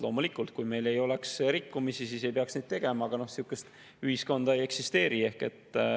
Loomulikult, kui meil ei oleks rikkumisi, siis ei peaks seda tegema, aga sihukest ühiskonda ei eksisteeri.